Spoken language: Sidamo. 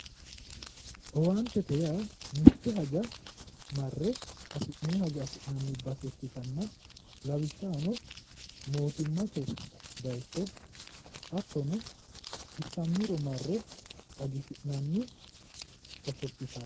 Owaantete yaa mitte hajora marre hasii'nonni hajo affi'nanni base ikkittanna lawishshaho mootimmate base hattono xissammiro marre xagisi'nanni hosopottale